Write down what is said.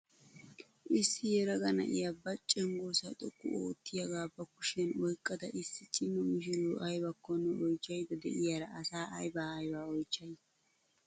Issi yelaga na'iyaa ba cengursaa xoqqu oottiyaagaa ba kushiyaan oyqqada issi cima mishiriyoo aybakkonne oychchaydda de'iyaara asaa aybaa aybaa oychchay?